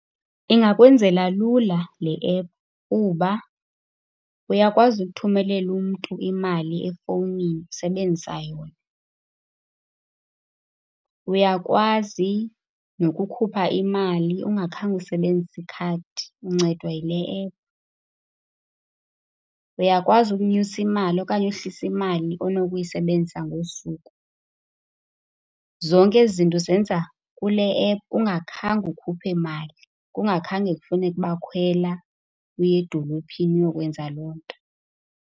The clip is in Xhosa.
Ingakwenzela lula le app kuba uyakwazi ukuthumelela umntu imali efowunini usebenzisa yona. Uyakwazi nokukhupha imali ungakhange usebenzise ikhadi, uncedwa yile app. Uyakwazi ukunyusa imali okanye uhlisa imali onokuyisebenzisa ngosuku. Zonke ezi zinto uzenza kule app ungakhange ukhuphe mali, kungakhange kufuneke ukuba khwela uye edolophini uyokwenza loo nto.